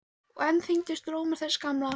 Og enn þyngdist rómur þess gamla.